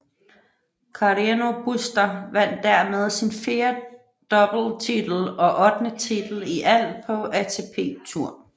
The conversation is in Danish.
Carreño Busta vandt dermed sin fjerde doubletitel og ottende titel i alt på ATP Tour